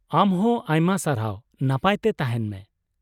ᱟᱢ ᱦᱚᱸ ᱟᱭᱢᱟ ᱥᱟᱨᱦᱟᱣ , ᱱᱟᱯᱟᱭ ᱛᱮ ᱛᱟᱦᱮᱱ ᱢᱮ ᱾